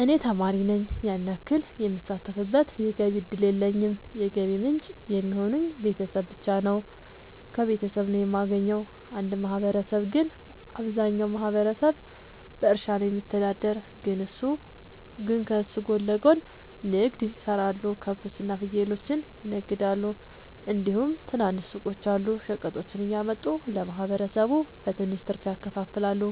እኔ ተማሪ ነኝ ያን ያክል የምሳተፍበት የገቢ እድል የለኝም የገቢ ምንጭ የሚሆኑኝ ቤተሰብ ብቻ ነው። ከቤተሰብ ነው የማገኘው። እንደ ማህበረሰብ ግን አብዛኛው ማህበረሰብ በእርሻ ነው የሚተዳደር ግን ከሱ ጎን ለጎን ንግድ የሰራሉ ከብቶች እና ፍየሎችን ይነግዳሉ እንዲሁም ትናንሽ ሱቆች አሉ። ሸቀጦችን እያመጡ ለማህበረሰቡ በትንሽ ትርፍ ያከፋፍላሉ።